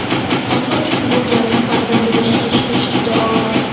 Ona uchun bu gapni farzandidan eshitish juda og‘ir.